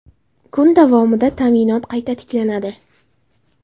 Kun davomida ta’minot qayta tiklanadi.